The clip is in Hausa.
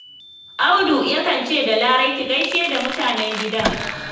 Audu ya kan ce da Larai 'ki gaishe da mutanen gidan'